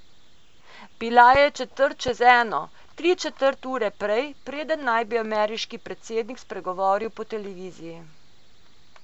Bila je četrt čez eno, tri četrt ure prej, preden naj bi ameriški predsednik spregovoril po televiziji.